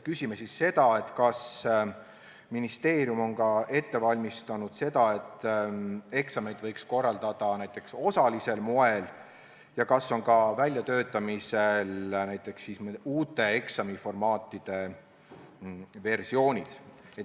Sellega seoses küsime, kas ministeerium on ette valmistunud selleks, et eksameid võiks korraldada näiteks osalisel moel, ja kas on hakatud välja töötama näiteks uusi eksamiformaatide versioone.